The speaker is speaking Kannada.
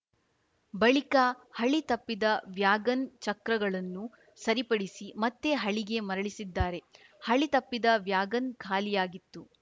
ಬಳಿಕ ಹಳಿ ತಪ್ಪಿದ ವ್ಯಾಗನ್‌ ಚಕ್ರಗಳನ್ನು ಸರಿಪಡಿಸಿ ಮತ್ತೆ ಹಳಿಗೆ ಮರಳಿಸಿದ್ದಾರೆ ಹಳಿ ತಪ್ಪಿದ ವ್ಯಾಗನ್‌ ಖಾಲಿಯಾಗಿತ್ತು